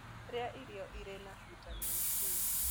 Rĩa irio ĩrĩ na vĩtamenĩ C